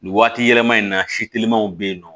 Nin waati yɛlɛma in na si telimaw be yen nɔ